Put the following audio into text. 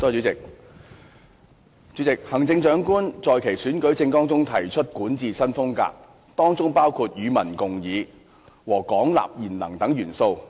主席，行政長官在其選舉政綱中提出管治新風格，當中包括"與民共議"和"廣納賢能"等元素。